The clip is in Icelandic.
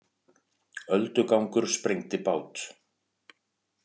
Öldugangur sprengdi bát